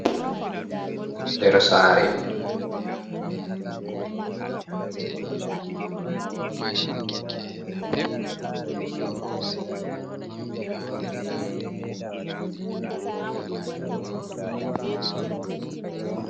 Nder sare.